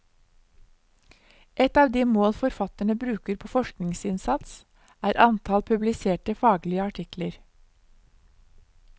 Et av de mål forfatterne bruker på forskningsinnsats, er antall publiserte faglige artikler.